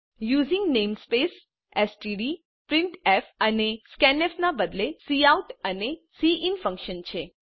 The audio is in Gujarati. યુઝિંગ નેમસ્પેસ એસટીડી અને પ્રિન્ટફ અને સ્કેન્ફ ના બદલે કાઉટ અને સિન ફન્કશન છે